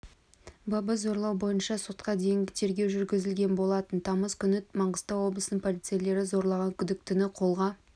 бабы зорлау бойынша сотқа дейінгі тергеу жүргізілген болатын тамыз күні маңғыстау облысының полицейлері зорлаған күдіктіні қолға